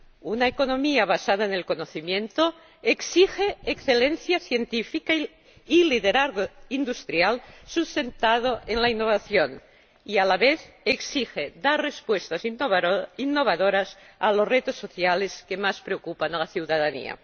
Una economía basada en el conocimiento exige excelencia científica y liderazgo industrial sustentado en la innovación y, a la vez, exige dar respuestas innovadoras a los retos sociales que más preocupan a la ciudadanía.